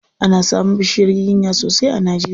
Ana samun bishiyar giginya sosai a Najeria.